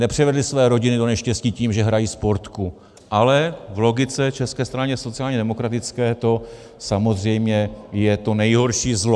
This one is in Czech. Nepřivedli své rodiny do neštěstí tím, že hrají Sportku, ale v logice České strany sociálně demokratické to samozřejmě je to nejhorší zlo.